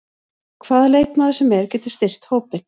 Hvaða leikmaður sem er getur styrkt hópinn.